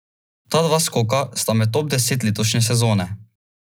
Ta dva skoka sta med top deset letošnje sezone.